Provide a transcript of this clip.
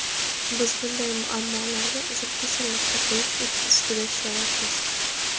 Biz bunday muammolarga uzil-kesil nuqta qo‘yish ustida ishlayapmiz.